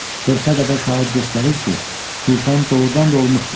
Qırxa qədər şahid göstərir ki, tufan doğurdan da olmuşdur.